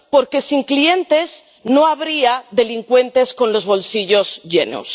Porque sin clientes no habría delincuentes con los bolsillos llenos.